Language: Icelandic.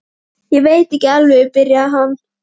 Ég veit ekki alveg. byrjaði hann.